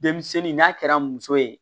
Denmisɛnnin n'a kɛra muso ye